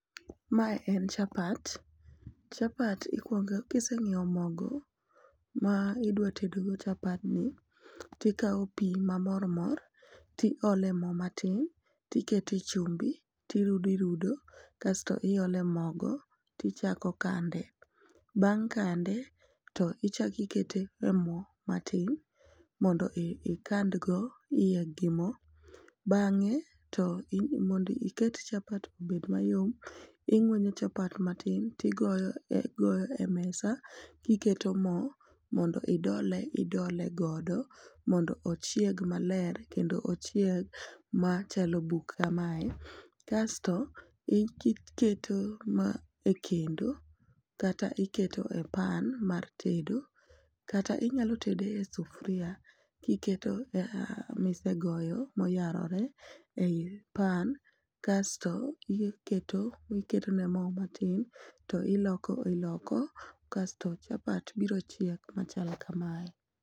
mae en chapapt, chapati ikuongo kiseng'iewo mogo ma idwa tedo go chapad ni tikawo pi ma mormor ti ole mo matin tikete chumbi tirudo rudo kasto iole mogo tichako kande ,bang' kande tichaki kete mo matin mondo ikand go iye gi mo bang'e to mondo iket chapat obed mayom, ing'uenyo chapat matin to tigoyo e mesa kiketo mo mondo idole idole godo mondo ochieg maler kendo ochieg machalo buk kamae ,kasto iketo ma e kendo kata iketo e pan mar tedo kata inyalo tede e sufuria kiketo misegoyo moyarore ei pan kasto iketo iketo ne mo matin to iloko iolko kasto chapat biro chiek machalo kamae